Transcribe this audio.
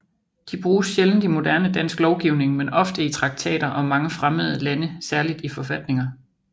De bruges sjældent i moderne dansk lovgivning men ofte i traktater og i mange fremmede lande særligt i forfatninger